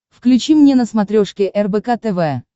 включи мне на смотрешке рбк тв